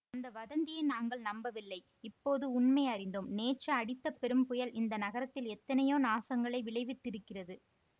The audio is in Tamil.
அந்த வதந்தியை நாங்கள் நம்பவில்லை இப்போது உண்மை அறிந்தோம் நேற்று அடித்த பெரும் புயல் இந்த நகரத்தில் எத்தனையோ நாசங்களை விளைவித்திருக்கிறது